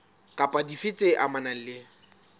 kapa dife tse amanang le